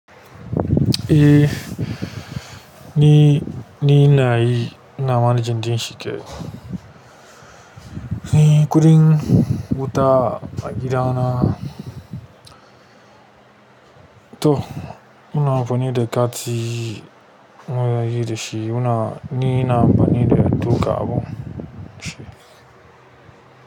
E, ni, ni na yi ina manejin ɗin shi ke. Ni kuɗin wuta a gida na. To muna amfani da kati munayi dashi muna ni ina amfani da duka abin.